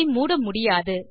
அதை மூட முடியாது